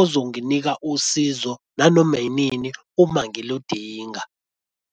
ozonginika usizo nanoma inini uma ngiludinga.